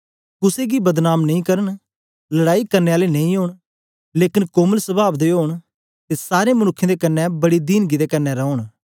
कुसे गी बदनाम नेई करन लड़ाई करने आले नेई ओंन लेकन कोमल सवाव दे ओंन ते सारें मनुक्खें दे कन्ने बड़ी दीनगी दे कन्ने रौन